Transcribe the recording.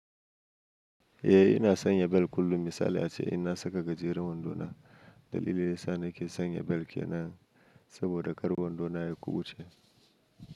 Eh ina sanya bel kullum. Misali ace in na saka gajeren wando na, dalilin yasa nake sanya bel kenan saboda ƙar wando na ya kubuce.